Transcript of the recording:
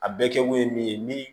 A bɛɛ kɛkun ye min ye ni